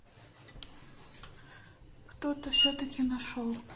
кто-то всё-таки нашёл